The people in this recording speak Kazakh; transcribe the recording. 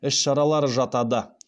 іс шаралары жатады